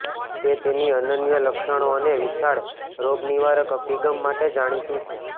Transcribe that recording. તે તેની અનન્ય લક્ષણો અને વિશાળ રોગનિવારક અભિગમ માટે જાણીતું છે